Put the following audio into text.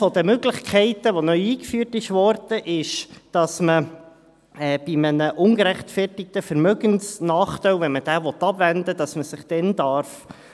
– Eine der Möglichkeiten, die neu eingeführt wurde, ist, dass man sich, wenn man einen ungerechtfertigten Vermögensnachteil abwenden will, entbinden lassen darf.